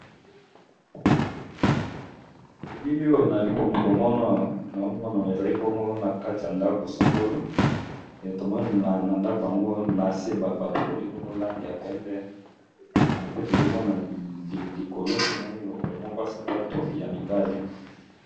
Na elili oyo naali ko mona awa nao mona ezali pongo na kati ya ndako songolo. E tomona na ndako yango na se ba pakoli bongo lange ya pembe. Pe tozo mona likolo to moni lokolo moko ya sapato ya mibali.